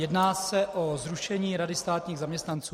Jedná se o zrušení Rady státních zaměstnanců.